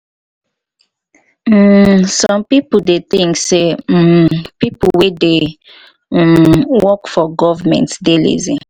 um some pipo dey think sey um pipo wey dey um work for government dey lazy